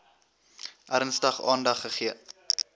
ernstig aandag gegee